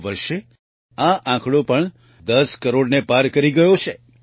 આ વર્ષે આ આંકડો પણ 10 કરોડને પાર કરી ગયો છે